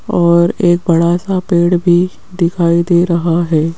और एक बड़ा सा पेड़ भी दिखाई दे रहा है।